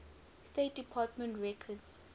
state department records